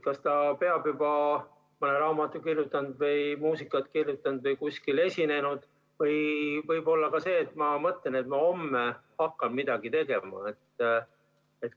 Kas ta peab olema juba mõne raamatu kirjutanud või muusikat kirjutanud või kuskil esinenud või võib olla ka nii, et ma mõtlen, et ma homme hakkan midagi tegema?